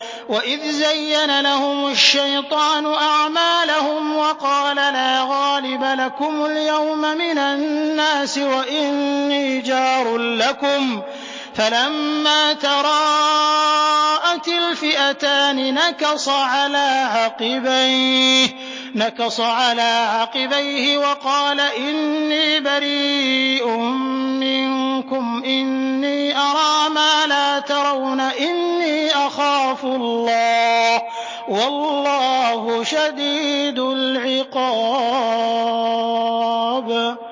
وَإِذْ زَيَّنَ لَهُمُ الشَّيْطَانُ أَعْمَالَهُمْ وَقَالَ لَا غَالِبَ لَكُمُ الْيَوْمَ مِنَ النَّاسِ وَإِنِّي جَارٌ لَّكُمْ ۖ فَلَمَّا تَرَاءَتِ الْفِئَتَانِ نَكَصَ عَلَىٰ عَقِبَيْهِ وَقَالَ إِنِّي بَرِيءٌ مِّنكُمْ إِنِّي أَرَىٰ مَا لَا تَرَوْنَ إِنِّي أَخَافُ اللَّهَ ۚ وَاللَّهُ شَدِيدُ الْعِقَابِ